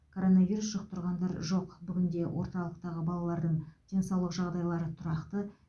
коронавирус жұқтырғандар жоқ бүгінде орталықтағы балалардың денсаулық жағдайлары тұрақты